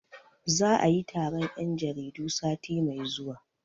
Za'a yi taron 'yan jaridu sati mai zuwa.